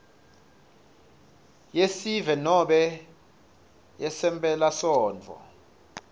yesive nobe ngemphelasontfo